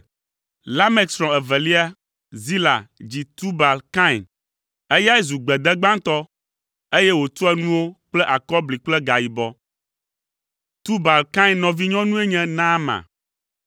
Lamek srɔ̃ evelia, Zila dzi Tubal Kain. Eyae zu gbede gbãtɔ, eye wòtua nuwo kple akɔbli kple gayibɔ. Tubal Kain nɔvinyɔnue nye Naama.